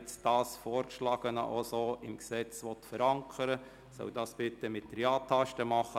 Wer das Vorgeschlagene im Gesetz verankern will, soll das bitte mit der Ja-Taste bestätigen.